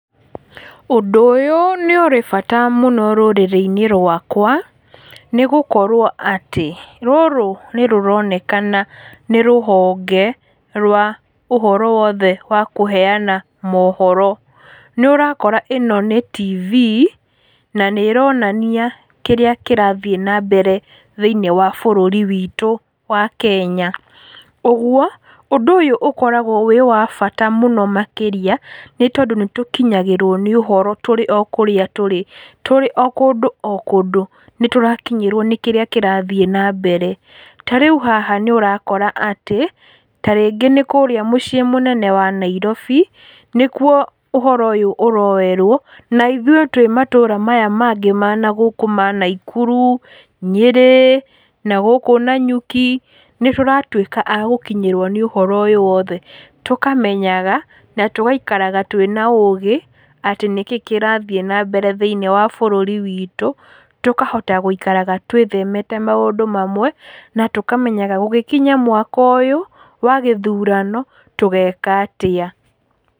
Ũndũ ũyũ nĩ ũrĩ bata mũno rũrĩrĩ-inĩ rwakwa nĩ gũkorwo atĩ rũrũ nĩ rũroneka kana nĩ rũhonge rwa ũhoro wothe wa kũheana mũhoro, nĩ ũrakora ĩno ni tibii na nĩ ĩronania kĩrĩa kĩrathiĩ na mbere bũrũri witũ wa Kenya. Ũguo ũndũ ũyũ ũkoragwo wĩ wa bata mũno makĩria nĩ ũndũ nĩ tũkinyagĩrwo nĩ ũhoro tũrĩ o kũrĩa tũrĩ, tũrĩo kũndũ o kũndũ nĩ tũrakinyĩrwo na mbere. Ta rĩu haha nĩ ũrakora atĩ tarĩngĩ nĩ kũrĩa mũciĩ mũnene wa Nairobi nĩ kuo uhoro ũyũ ũroerwo, na ithuĩ twĩ matũra maya mangĩ ma nagũkũ ma Nakuru, Nyeri nagũkũ Nyanyuki nĩ tũratuĩka a gũkinyĩrwo nĩ ũhoro ũyũ wothe, tũkamenyaga na tũgaikaraga twĩna ũgĩ atĩ nĩ kĩĩ kĩrathiĩ na mbere thĩinĩ wa bũrũri witũ tũkahota gwĩkaraga twĩ themete maũndũ mamwe na tũkamenyaga gũgĩkinya mwaka ũyũ wa gĩthurano tũgeka atĩa.